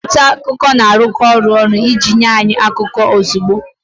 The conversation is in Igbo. Ndị nta akụkọ na-arụkọ ọrụ ọnụ iji nye anyị akụkọ ozugbo